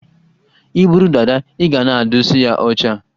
I buru dada, i ga na-adụsa ya ọcha